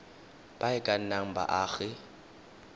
ba e ka nnang baagi